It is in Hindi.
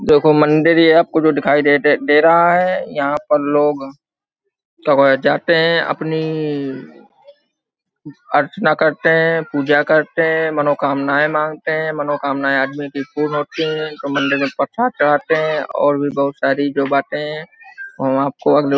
देखो मंदिर ये आपको जो दिखाई दे दे रहा है यहाँ पर लोग जाते है अपनी अर्चना करते है पूजा करते है मनोकामनाए मांगते है मनोकामनाए आदमी कि पूर्ण होती है मंदिर मे प्रसाद चडाते है और भी जो बहुत साडी जो बाते हैं वो हम आपको अगले --